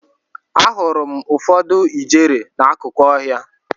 Ahụrụ m ụfọdụ ijere n'akụkụ ọhịa.